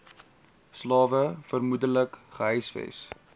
slawe vermoedelik gehuisves